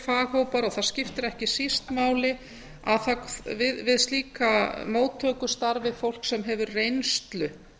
faghópar og það skiptir ekki síst máli að við slíka móttöku starfi fólk sem hefur reynslu